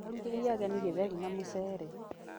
Arugĩire ageni gĩtheri na mũcere